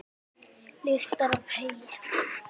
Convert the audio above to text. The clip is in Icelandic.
Lyktar af heyi.